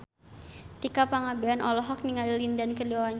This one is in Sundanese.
Tika Pangabean olohok ningali Lin Dan keur diwawancara